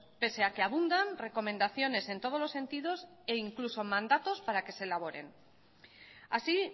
pese a que abundan recomendaciones en todos los sentidos e incluso mandatos para que se elaboren así